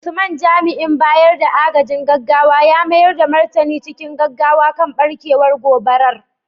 Usman, jami’in bayar da agajin gaggawa ya mayar da martani cikin gaggawa kan barkewar gobarar.